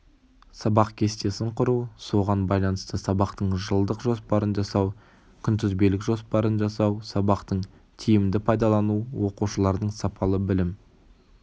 сабақ кестесін құру соған байланысты сабақтың жылдық жоспарын жасау күнтізбелік жоспарын жасау сабақтың тимді пайдалану оқушылардың сапалы білім